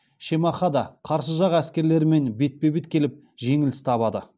шемахада қарсы жақ әскерлерімен бетпе бет келіп жеңіліс табады